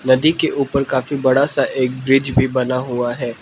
नदी के ऊपर काफी बड़ा सा एक ब्रिज भी बना हुआ है।